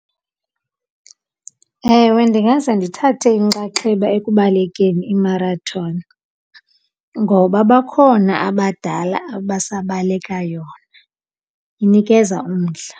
Ewe ndingaze ndithathe inxaxheba ekubalekeni imarathoni ngoba bakhona abadala abasabaleka yona, inikeza umdla.